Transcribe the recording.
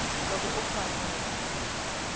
loko u fanele ku va